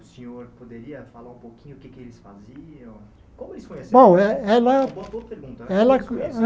O senhor poderia falar um pouquinho sobre o que eles faziam? Como Bom E ela Uma boa pergunta né E ela